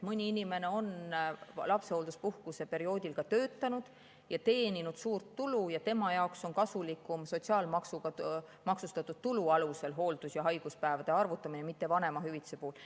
Mõni inimene on lapsehoolduspuhkuse perioodil töötanud ja teeninud suurt tulu ning tema jaoks on kasulikum hooldus‑ ja haiguspäevade arvutamine sotsiaalmaksuga maksustatud tulu alusel, mitte vanemahüvitise alusel.